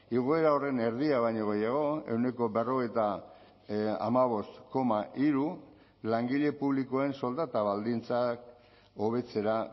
igoera horren erdia baino gehiago ehuneko berrogeita hamabost koma hiru langile publikoen soldata baldintzak hobetzera